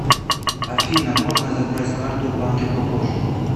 афина можно забрать карту в банке попозже